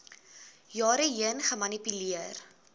jare heen gemanipuleer